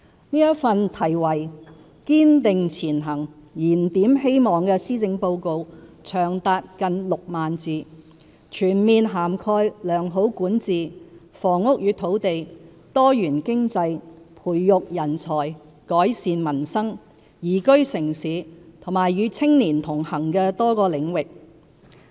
這份題為"堅定前行燃點希望"的施政報告長達近6萬字，全面涵蓋良好管治、房屋與土地、多元經濟、培育人才、改善民生、宜居城市及與青年同行的多個領域。